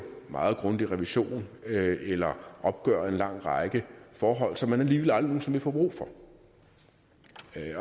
meget grundig revision eller opgøre en lang række forhold som man alligevel aldrig nogen sinde vil få brug for